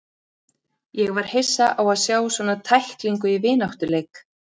Ég var hissa á að sjá svona tæklingu í vináttuleik.